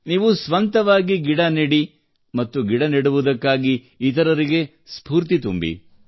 ನೀವು ಸ್ವಂತವಾಗಿ ಗಿಡ ನೆಡಿ ಮತ್ತು ಗಿಡ ನೆಡುವುದಕ್ಕಾಗಿ ಇತರರಿಗೆ ಸ್ಫೂರ್ತಿ ತುಂಬಿ